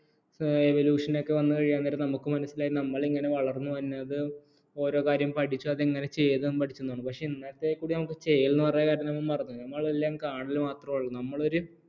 evolution ഒക്കെ വന്നു കഴിയാൻ നേരത്ത് നമുക്ക് മനസ്സിലായി നമ്മൾ ഇങ്ങനെ വളർന്നുവന്നത് ഓരോ കാര്യം പഠിച്ച് അതിങ്ങനെ ചെയ്തും പഠിച്ചും ആണ് പക്ഷേ ഇന്നത്തേക്ക് കൂടി നമ്മള് ചെയ്യൽ എന്ന് പറയുന്ന കാര്യങ്ങളെല്ലാം മറന്നു പോയി നമ്മളെല്ലാം കാണൽ മാത്രമേ ഉള്ളൂ നമ്മൾ ഒരു